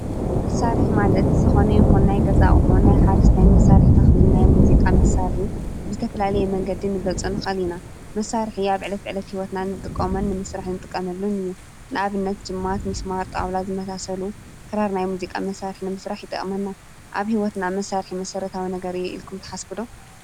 መሳርሒ ማለት ዝኮነ ይኩን ናይ ገዛ ኣቁሕ ናይ ሓረስታይ መሳርሒ ተክሊ፣ ናይ ሙዚቃ መሳርሒ ብዝተፈላለየ መንገዲ ክንገልፆ ንክእል ኢና፡፡ መሳርሒ ኣብ ዕለት ዕለት ሂወትና እንጥቀሞን ንምሳርሒ እንጥቀመሉን እዩ፡፡ ንኣብነት ጅማ፣ ሚስማር፣ ጣውላ ዝመሳሰሉ ክራር ናይ ሙዚቃ መሳርሒ ንምስራሕ ይጠቅመና፡፡ ኣብ ሂወትና መሳርሒ መሰራተዊ ነገር እዩ ኢልኩም ትሓስቡ ዶ?